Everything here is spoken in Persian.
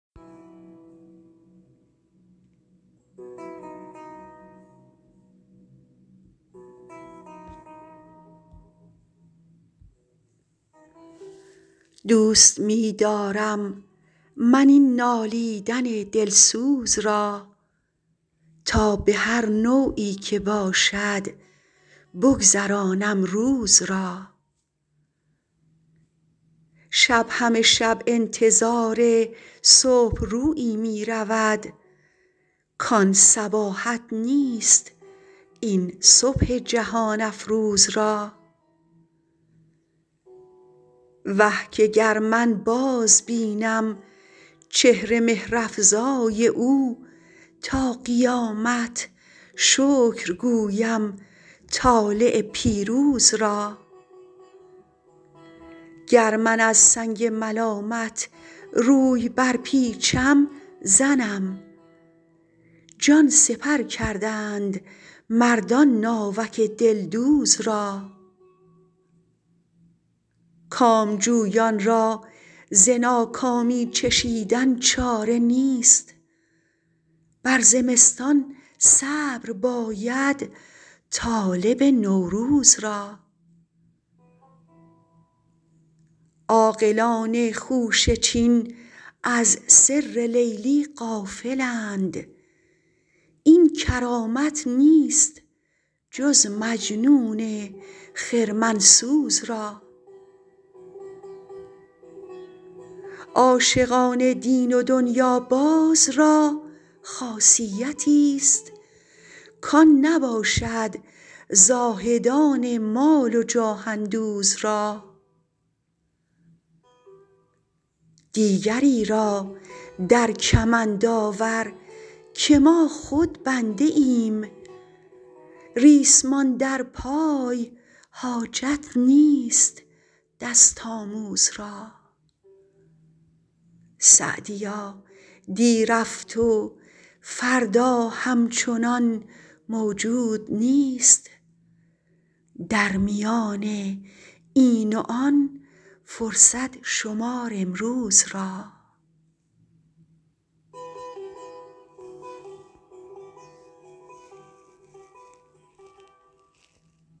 دوست می دارم من این نالیدن دلسوز را تا به هر نوعی که باشد بگذرانم روز را شب همه شب انتظار صبح رویی می رود کان صباحت نیست این صبح جهان افروز را وه که گر من بازبینم چهر مهرافزای او تا قیامت شکر گویم طالع پیروز را گر من از سنگ ملامت روی برپیچم زنم جان سپر کردند مردان ناوک دلدوز را کامجویان را ز ناکامی چشیدن چاره نیست بر زمستان صبر باید طالب نوروز را عاقلان خوشه چین از سر لیلی غافلند این کرامت نیست جز مجنون خرمن سوز را عاشقان دین و دنیاباز را خاصیتیست کان نباشد زاهدان مال و جاه اندوز را دیگری را در کمند آور که ما خود بنده ایم ریسمان در پای حاجت نیست دست آموز را سعدیا دی رفت و فردا همچنان موجود نیست در میان این و آن فرصت شمار امروز را